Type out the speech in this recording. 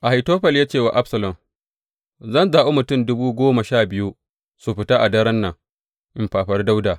Ahitofel ya ce wa Absalom, Zan zaɓi mutum dubu goma sha biyu su fita a daren nan in fafari Dawuda.